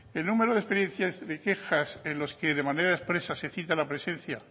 el número de experiencias de quejas en los que de manera expresa se cita la presencia